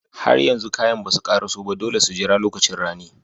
Har yanzu kayan basu ƙaraso ba, dole su jira lokacin rani.